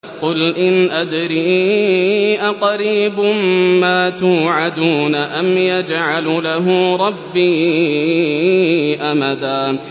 قُلْ إِنْ أَدْرِي أَقَرِيبٌ مَّا تُوعَدُونَ أَمْ يَجْعَلُ لَهُ رَبِّي أَمَدًا